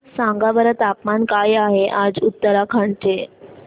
सांगा बरं तापमान काय आहे आज उत्तराखंड चे